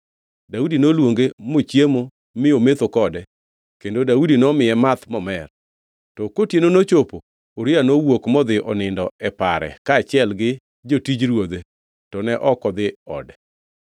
Daudi noluonge mochiemo mi ometho kode kendo Daudi nomiye math momer. To kotieno nochopo Uria nowuok modhi onindo e pare kaachiel gi jotij ruodhe; to ne ok odhi ode.